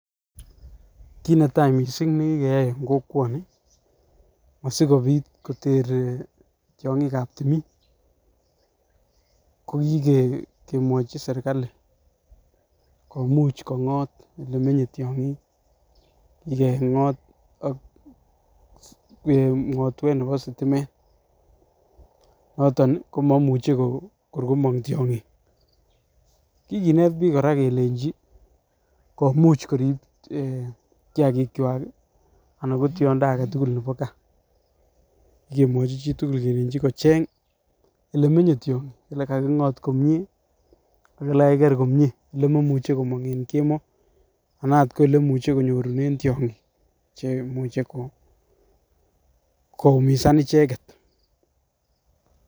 Kit netai missing nekikeyai en kokwoni asikopit kotere tyonkik ab timin ko kikee mwochi serkali komuch kongot ole menye tyonkik nyokengot ak ngotwet nebo sitimet noton nii komoimuche kor komong tyonkik. Kikinet bik Koraa kelenji komuch korib eeh kiyakik kwak kii anan ko tyondo aketukul nebo gaa, kikemwochi chitukul kelenji kecheng ole menye tyonkik ole kakingot komie ak ole kakiker komie ole moimuche komong en kemoi anaat ko ole moimuche konyorunen tyonkik cheimuche ko koumisa icheket.